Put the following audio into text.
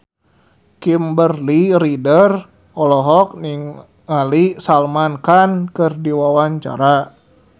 Kimberly Ryder olohok ningali Salman Khan keur diwawancara